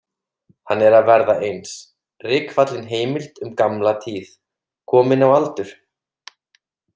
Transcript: Hann er að verða eins, rykfallin heimild um gamla tíð, kominn á aldur.